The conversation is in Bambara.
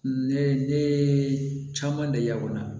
Ne ye ne ne caman de ya kɔnɔ